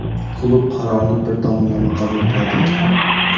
klub qarorni bir tomonlama qabul qiladi.